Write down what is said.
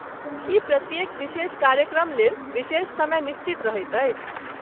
की प्रत्येक विशेष कार्यक्रमलेल विशेष समय निश्चित रहैत अछि?